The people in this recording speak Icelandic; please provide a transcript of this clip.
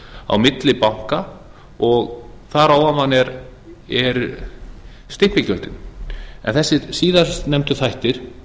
á milli banka og þar á ofan eru stimpilgjöldin en þessir síðast nefndu þættir